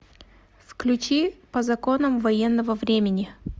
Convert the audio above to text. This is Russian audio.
включи по законам военного времени